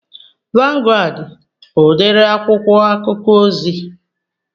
Vangụad bụ udiri akwụkwọ akụkọ ozi